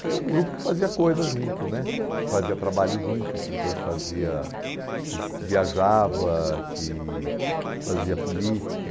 Tinha um grupo que fazia coisa junto né, que fazia trabalho junto, que depois fazia que viajava, que fazia política.